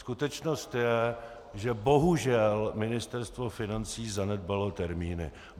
Skutečnost je, že bohužel Ministerstvo financí zanedbalo termíny.